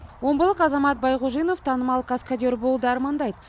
омбылық азамат байғужинов танымал каскадер болуды армандайды